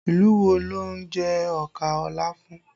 Ìlú wo ló ń jẹ ọkà láfún?